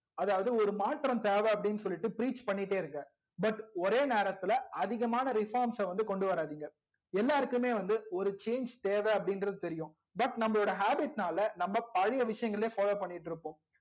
அதாது ஒரு மாற்றம் தெவ அப்டின்னு சொல்லிட்டு preach பண்ணிடே இருங்க but ஒரே நேரத்துல அதிகமான reforms அ கொண்டுவராதிங்க எல்லாருக்குமே வந்து ஒரு change தேவ அப்டின்றது தெரியும் but நம்ம habbit நால நம்ம பழைய விஷயங்களையும் follow பண்ணிட்டு இருக்கோம்